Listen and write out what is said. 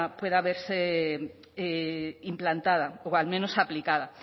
pueda verse implantada o al menos aplicada